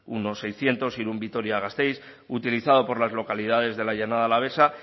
uno seiscientos irun vitoria gasteiz utilizado por las localidades de la llanada alavesa